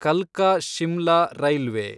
ಕಲ್ಕಾ Shimla railway